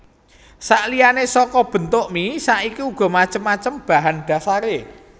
Saliyane saka bentuk mie saiki uga macem macem bahan dhasaré